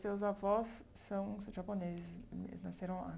Seus avós são japoneses, eles nasceram lá?